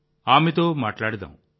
ఆమెతో మాట్లాడుదాం